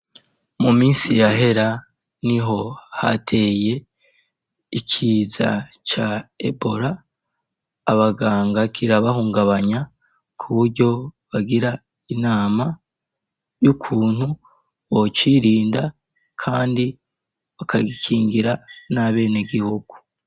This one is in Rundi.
Mu minsi ya hera niho hateye ikiza ca ebola abaganga kirabahungabanya kuburyo bagira inama y'ukuntu bocirinda kandi bakagikingira n'abene gihugu.